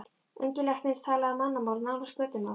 Ungi læknirinn talaði mannamál, nánast götumál.